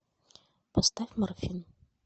поставь морфин